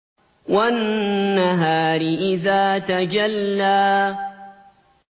وَالنَّهَارِ إِذَا تَجَلَّىٰ